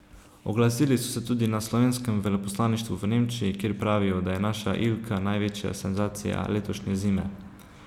Oglasili so se tudi na slovenskem veleposlaništvu v Nemčiji, kjer pravijo, da je naša Ilka največja senzacija letošnje zime.